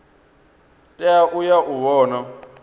tea u ya u vhona